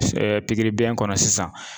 pikiri biyɛn kɔnɔ sisan.